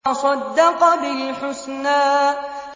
وَصَدَّقَ بِالْحُسْنَىٰ